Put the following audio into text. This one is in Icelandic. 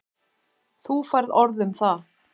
Þú færð orð um það.